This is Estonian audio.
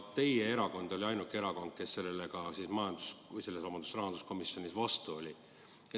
Teie erakond oli ainuke, kes sellele rahanduskomisjonis vastu oli.